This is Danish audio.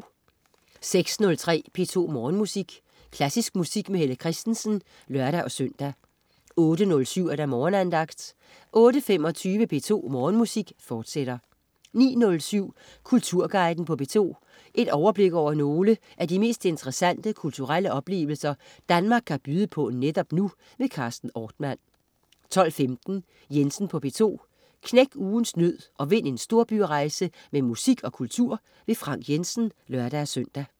06.03 P2 Morgenmusik. Klassisk musik med Helle Kristensen (lør-søn) 08.07 Morgenandagten 08.25 P2 Morgenmusik, fortsat 09.07 Kulturguiden på P2. Overblik over nogle af de mest interessante kulturelle oplevelser, Danmark kan byde på netop nu. Carsten Ortmann 12.15 Jensen på P2. Knæk ugens nød og vind en storbyrejse med musik og kultur. Frank Jensen (lør-søn)